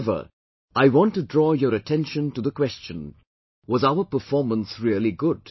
However, I want to draw your attention to the question was our performance really good